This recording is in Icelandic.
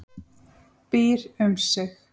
Býr um sig.